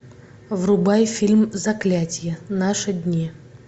врубай фильм заклятье наши дни